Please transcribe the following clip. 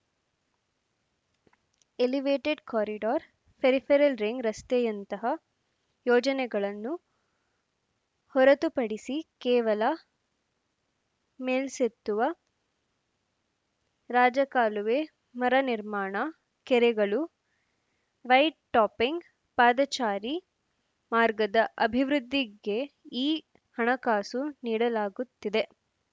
elevated corridor peripheral ring ರಸ್ತೆಯಂತಹ ಯೋಜನೆಗಳನ್ನು ಹೊರತುಪಡಿಸಿ ಕೇವಲ ಮೇಲ್ಸೇತುವ ರಾಜಕಾಲುವೆ ಮರು ನಿರ್ಮಾಣ ಕೆರೆಗಳು ವೈಟ್‌ ಟಾಪಿಂಗ್‌ ಪಾದಚಾರಿ ಮಾರ್ಗದ ಅಭಿವೃದ್ಧಿಗೆ ಈ ಹಣಕಾಸು ನೀಡಲಾಗುತ್ತಿದೆ